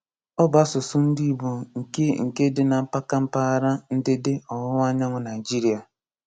Ọ bụ àsụ̀sụ̀ ndị Ìgbò nke nke dị na mpàkà mpaghara ǹdèdè ọ̀wụ̀wa ànyànwụ́ Naijiria.